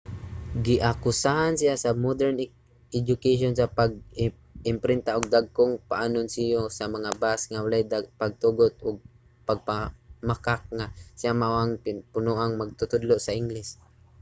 giakusahan siya sa modern education sa pag-imprinta og dagkong paanunsiyo sa mga bus nga walay pagtugot ug pagpamakak nga siya mao ang punoang magtutudlo sa ingles